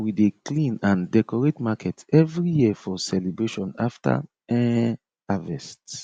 we dey clean and decorate market evry year for celebration after um harvest